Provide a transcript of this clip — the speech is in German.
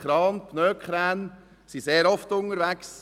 Pneukrane zum Beispiel sind sehr oft unterwegs.